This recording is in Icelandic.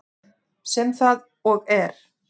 Sem það og er.